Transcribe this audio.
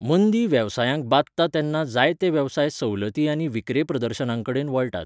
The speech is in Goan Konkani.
मंदी वेवसायांकबादता तेन्ना जायते वेवसाय सवलती आनी विक्रे प्रदर्शनांकडेन वळटात.